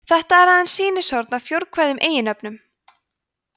þetta er aðeins sýnishorn af fjórkvæðum eiginnöfnum